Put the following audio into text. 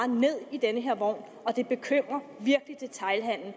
ned i den her vogn og det bekymrer virkelig detailhandelen